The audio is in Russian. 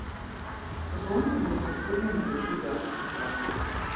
пополни пожалуйста счет для моего друга виталия